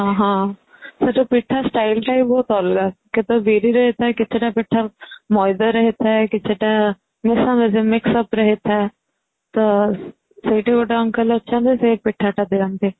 ହଁ ହଁ ସେ ଯୋଉ ପିଠା style ଟା ଭି ବହୁତ ଅଲଗା .କେତେକ ବିରିରେ ହେଇ ଥାଏ କେତେଟା ପିଠା ମଇଦାରେ ହେଇ ଥାଏ କିଛି ଟା ମିଶାମିଶି mix up ରେ ହେଇ ଥାଏତ ସେଠି ଗୋଟେ uncle ଅଛନ୍ତି ସେ ପିଠା ଟା ଦିଅନ୍ତି